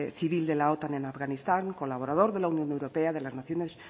civil de la otan en afganistán colaborador de la unión europea de las naciones